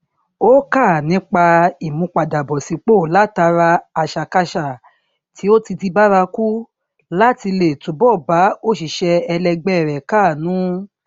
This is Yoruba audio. ó kà nípa ìmúpadàbọsípò látara àṣàkáṣà tí ó ti di bárakú láti lè túbọ bá òṣìṣẹ ẹlẹgbẹ rẹ káàánú